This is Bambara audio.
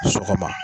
Sɔgɔma